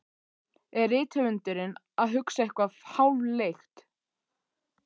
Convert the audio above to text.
Er rithöfundurinn að hugsa eitthvað háfleygt?